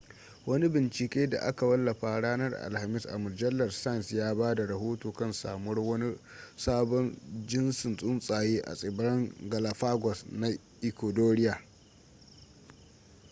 wani bincike da aka wallafa ranar alhamis a mujallar science ya ba da rohoto kan samuwar wani sabon jintsin tsuntsaye a tsibiran galapagos na ecuadoria